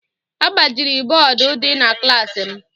A gbajiri bọọdụ dị na klaasị m.